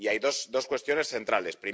Hay dos cuestiones centrales.